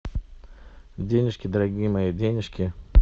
денежки дорогие мои денежки